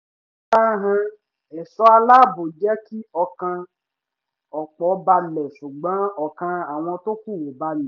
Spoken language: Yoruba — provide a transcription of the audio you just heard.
ìfarahàn ẹ̀ṣọ́ aláàbò jẹ́ kí ọkàn ọ̀pọ̀ balẹ̀ ṣùgbọ́n ọkàn àwọn tó kù ò balẹ̀